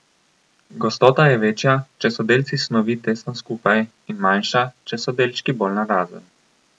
Gostota je večja, če so delci snovi tesno skupaj, in manjša, če so delčki bolj narazen.